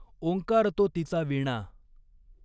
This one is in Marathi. ॐकार तो तिचा वीणा।